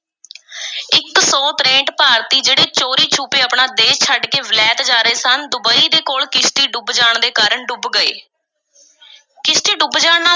ਇੱਕ ਸੌ ਤਰੇਂਹਠ ਭਾਰਤੀ ਜਿਹੜੇ ਚੋਰੀ-ਛੁਪੇ ਆਪਣਾ ਦੇਸ ਛੱਡ ਕੇ ਵਿਲਾਇਤ ਜਾ ਰਹੇ ਸਨ, ਡੁਬਈ ਦੇ ਕੋਲ ਕਿਸ਼ਤੀ ਡੁੱਬ ਜਾਣ ਦੇ ਕਾਰਨ ਡੁੱਬ ਗਏ, ਕਿਸ਼ਤੀ ਡੁੱਬ ਜਾਣ ਨਾਲ